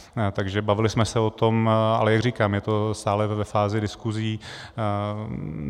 Takže bavili jsme se o tom, ale jak říkám, je to stále ve fázi diskusí.